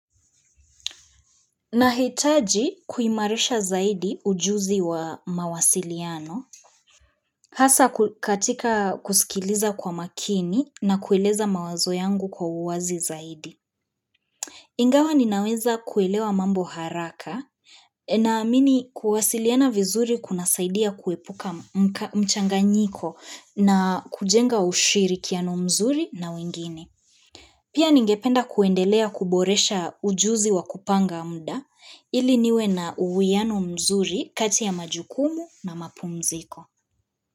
Nahitaji kuimarisha zaidi ujuzi wa mawasiliano, hasaa katika kusikiliza kwa makini na kueleza mawazo yangu kwa uwazi zaidi. Ingawa ninaweza kuelewa mambo haraka naamini kuwasiliana vizuri kuna saidia kuepuka mchanganyiko na kujenga ushirikiano mzuri na wengine. Pia ningependa kuendelea kuboresha ujuzi wa kupanga mda ili niwe na uwuiano mzuri kati ya majukumu na mapumziko.